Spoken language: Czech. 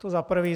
To za prvé.